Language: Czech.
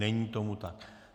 Není tomu tak.